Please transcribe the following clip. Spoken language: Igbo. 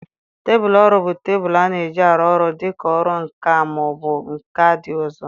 Tebụl ọrụ bụ tebụl a na-eji arụ ọrụ dị ka ọrụ nka ma ọ bụ nka ndị ọzọ.